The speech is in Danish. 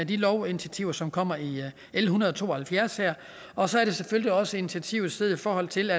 de lovinitiativer som kommer i l en hundrede og to og halvfjerds og så er det selvfølgelig også initiativer i forhold til